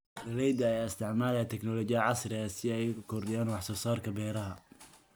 Beeralayda ayaa isticmaalaya tignoolajiyada casriga ah si ay u kordhiyaan wax soo saarka beeraha.